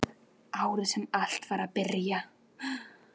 Árið sem allt var að byrja.